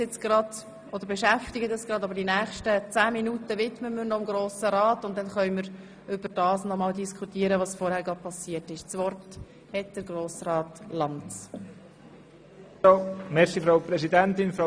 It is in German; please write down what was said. – Natürlich beschäftigt uns dieser Vorfall, aber die nächsten zehn Minuten widmen wir noch den Geschäften des Grossen Rats.